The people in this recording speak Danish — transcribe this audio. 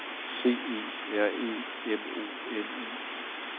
C E R E M O N I